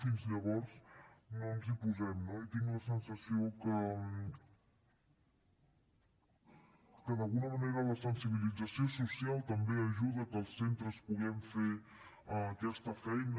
fins llavors no ens hi posem no i tinc la sensació que d’alguna manera la sensibilització social també ajuda a que els centres puguem fer aquesta feina